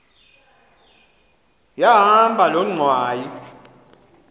yahamba loo ngxwayi